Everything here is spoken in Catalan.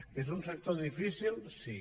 que és un sector difícil sí